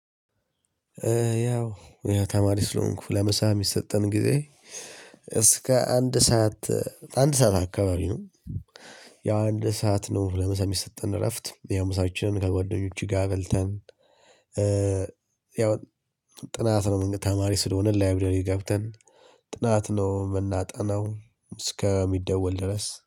ያው ተማሪ ስለሆንኩ ለምሳ የሚሰጠን ጊዜ እስከ አንድ ሰዓት አንድ ሰዓት አካባቢ ነው። ያው አንድ ሰዓት ነው ለምሳ የሚሰጠን እረፍት ምሳችንን ከጓደኞቼ ጋር በልተን። ያው ጥናት ነው ተማሪ ስለሆነ ላይብረሪ ገብተን ጥናት ነው የምናጠነው። እስከሚደወል ድረስ